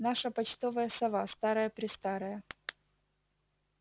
наша почтовая сова старая-престарая